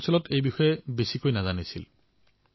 তেওঁলোকৰ অঞ্চলটোত ইয়াৰ বিষয়ে বহুতে নাজানিছিল